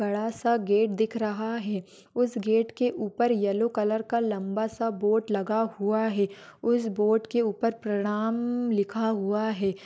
बड़ा सा गेट दिख रहा है। उस गेट के ऊपर येल्लो कलर का लंबा सा बोर्ड लगा हुआ है। उस बोर्ड के ऊपर प्रणाम लिखा हुआ है।